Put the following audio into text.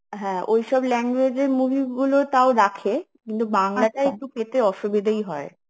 হ্যাঁ ওই সব language এর movie গুলো তো টাও রাখে কিন্তু টা একটু পেতে অসুবিধেই হয়